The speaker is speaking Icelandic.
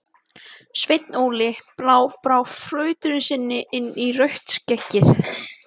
Sveinn Óli brá flautunni sinni inn í rautt skeggið.